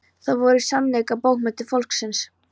Þær voru í sannleika bókmenntir fólksins.